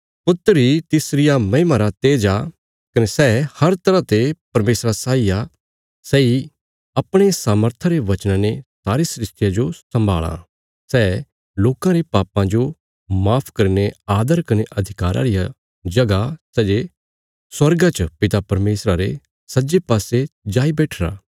पुत्र इ तिसरिया महिमा रा तेज आ कने सै हर तरह ते परमेशरा साई आ सैई अपणे सामर्था रे वचना ने सारी सृष्टिया जो सम्भाल़ां सै लोकां रे पापां जो माफ करीने आदर कने अधिकारा रिया जगह सै जे स्वर्गा च पिता परमेशरा रे सज्जे पासे जाई बैट्ठीरा